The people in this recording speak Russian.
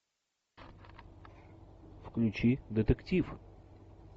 включи детектив